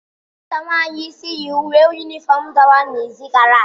Nwata nwanyị isi yi uwe yunifọm dọwara n'izi gara aga